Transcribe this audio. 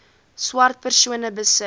swart persone besit